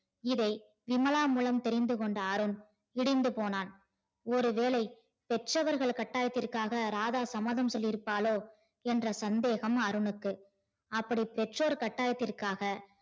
இதை விமலா மூலம் தெரிந்துகொண்ட அருண் இடிந்து போனான் ஒரு வேலை பெற்றவர்கள் கட்டாயத்திற்காக ராதா சம்மதம் சொல்லி இருப்பாரோ என்ற சந்தேகம் அருணுக்கு அப்படி பெற்றோர் கட்டாயத்திற்காக